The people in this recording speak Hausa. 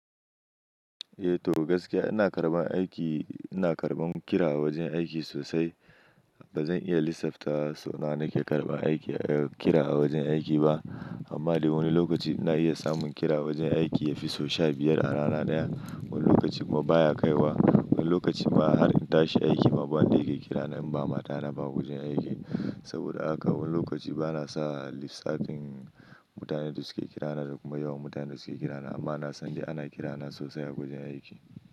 Eh to gaskiya ina karɓa aiki, ina karɓan kira a wajen aiki sosai. Ba zan iya lissafa so nawa nake karɓa aiki, kira a wajen aiki ba. Amma dai wani lokaci ina iya samun kira a wajen aiki yafi sau sha biyar a rana daya. Wani lokacin ma baya kai wa, wani lokacin ma har in tashi aiki ma ba wanda yake kira na in ba mata na ba a wajen aiki. Saboda haka wani lokaci bana sa lissafin mutanen da suke kira na da kuma yawan mutanen da suke kira na. Amma na san dai ana kira na sosai a wajen aiki.